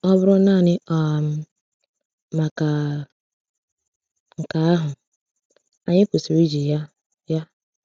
Ọ bụrụ naanị um maka nke ahụ, anyị kwesịrị iji ya. ya.